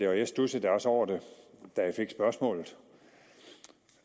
og jeg studsede da også over det da jeg fik spørgsmålet